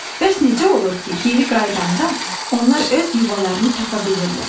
Bəs necə olur ki, geri qayıdanda onlar öz yuvalarını tapa bilirlər?